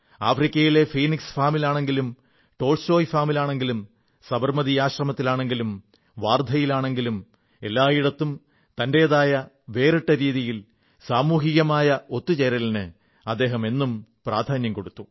ആഫ്രിക്കയിലെ ഫീനിക്സ് ഫാമിലാണെങ്കിലും ടോൾസ്റ്റോയ് ഫാമിലാണെങ്കിലും സബർമതി ആശ്രമത്തിലാണെങ്കിലും വാർധയിലാണെങ്കിലും എല്ലായിടത്തും തന്റെതായ വേറിട്ട രീതിയിൽ സാമൂഹികമായ ഒത്തു ചേരലിന് അദ്ദേഹം എന്നും പ്രാധാന്യം കൊടുത്തു